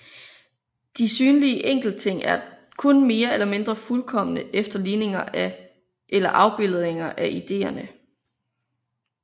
De synlige enkeltting er kun mere eller mindre fuldkomne efterligninger eller afbildninger af ideerne